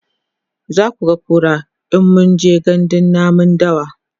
zakuga kura in mun je gandun namun dawa